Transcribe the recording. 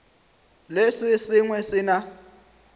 le se sengwe se na